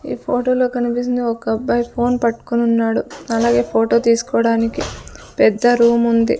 ఈ ఫోటోలో కనిపిస్తుంది ఒక అబ్బాయి ఫోన్ పట్టుకొని ఉన్నాడు అలాగే ఫోటో తీసుకోవడానికి పెద్ద రూమ్ ఉంది.